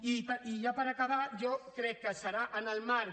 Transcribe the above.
i ja per acabar jo crec que serà en el marc